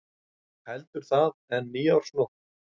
Heldur það en nýársnótt.